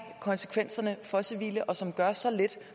konsekvenserne for civile og som gør så lidt